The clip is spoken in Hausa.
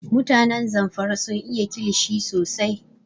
Mutanen Zamfara sun iya kilishi sosai